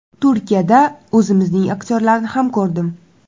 Turkiyada o‘zimizning aktyorlarni ham ko‘rdim.